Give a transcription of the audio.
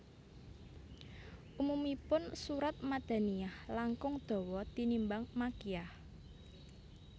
Umumipun surat Madaniyah langkung dawa tinimbang Makkiyah